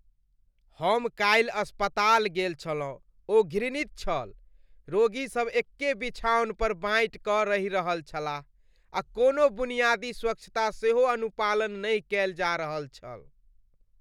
हम कालि अस्पताल गेल छलहुँ ओ घृणित छल। रोगी सब एक्के बिछाओन पर बाँटि कऽरहि रहल छलाह आ कोनो बुनियादी स्वच्छता सेहो अनुपालन नहि कएल जा रहल छल।